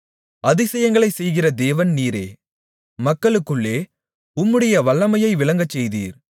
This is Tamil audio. அதிசயங்களைச் செய்கிற தேவன் நீரே மக்களுக்குள்ளே உம்முடைய வல்லமையை விளங்கச்செய்தீர்